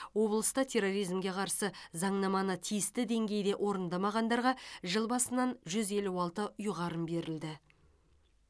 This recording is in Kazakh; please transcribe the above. облыста терроризмге қарсы заңнаманы тиісті деңгейде орындамағандарға жыл басынан жүз елу алты ұйғарым берілді